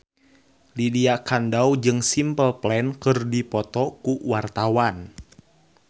Lydia Kandou jeung Simple Plan keur dipoto ku wartawan